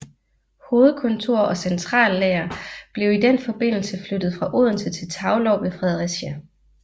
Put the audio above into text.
Hovedkontor og centrallager blev i den forbindelse flyttet fra Odense til Taulov ved Fredericia